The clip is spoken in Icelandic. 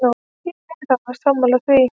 Ég er alveg sammála því.